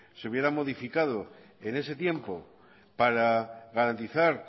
se hubiera modificado en ese tiempo para garantizar